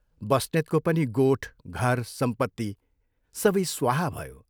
बस्नेतको पनि गोठ, घर सम्पत्ति सबै स्वाहा भयो।